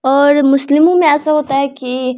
और मुस्लिमो में ऐसे होता है की --